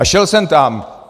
A šel jsem tam.